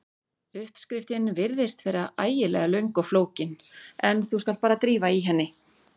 Uppskriftin virðist vera ægilega löng og flókin en þú skalt bara drífa í henni.